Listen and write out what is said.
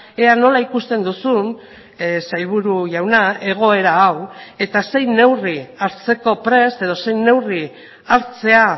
ea nola ikusten duzun sailburu jauna egoera hau eta zein neurri hartzeko prest edo zein neurri hartzea